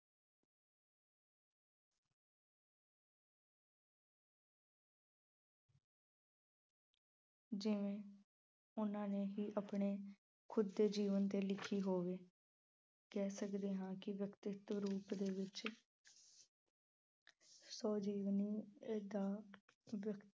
ਜਿਵੇਂ ਉਹਨਾਂ ਨੇ ਹੀ ਆਪਣੇ ਖੁਦ ਦੇ ਜੀਵਨ ਤੇ ਲਿਖੀ ਹੋਵੇ। ਕਹਿ ਸਕਦੇ ਹਾਂ ਕਿ ਵਿਅਕਤੀਤਵ ਰੂਪ ਦੇ ਵਿੱਚ ਸਵੈ-ਜੀਵਨੀ ਦਾ